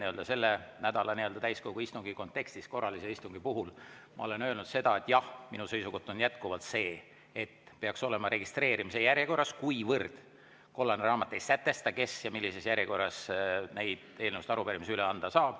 Ma olen selle nädala täiskogu istungi kontekstis korralise istungi kohta öelnud seda, et minu seisukoht on jätkuvalt see, et peaks olema registreerimise järjekorras, kuivõrd kollane raamat ei sätesta, kes millises järjekorras neid eelnõusid ja arupärimisi saab üle anda.